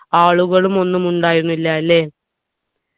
ആളുകളുമൊന്നു ഉണ്ടായിരുന്നില്ല അല്ലെ